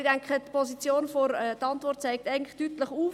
Aber, ich denke, die Antwort zeigt eigentlich deutlich auf: